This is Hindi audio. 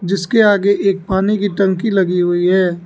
जिसके आगे एक पानी की टंकी लगी हुई है।